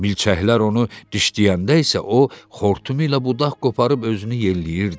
Milçəklər onu dişləyəndə isə o, xortumu ilə budaq qoparıb özünü yelləyirdi.